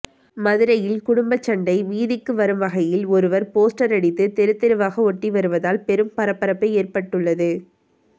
மதுரையில் குடும்ப சண்டை வீதிக்கு வரும் வகையில் ஒருவர் போஸ்டர் அடித்து தெருத்தெருவாக ஓட்டி வருவதால் பெரும் பரபரப்பு ஏற்பட்டுள்ளது